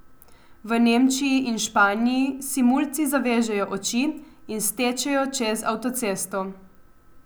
V Nemčiji in Španiji si mulci zavežejo oči in stečejo čez avtocesto.